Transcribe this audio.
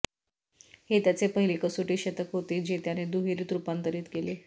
हे त्याचे पहिले कसोटी शतक होते जे त्याने दुहेरीत रूपांतरित केले